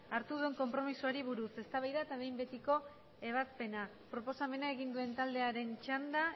hartua duen konpromisoari buruz eztabaida eta behin betiko ebazpena proposamena egin duen taldearen txanda